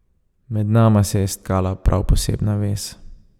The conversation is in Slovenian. Med nama se je stakala prav posebna vez.